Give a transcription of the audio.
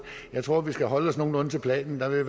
jeg tror vi skal holde os nogenlunde til planen der vil